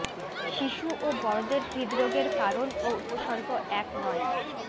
শিশু ও বড়দের হৃদরোগের কারণ ও উপসর্গ এক নয়